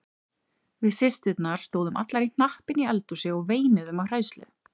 Við systurnar stóðum allar í hnapp inni í eldhúsi og veinuðum af hræðslu.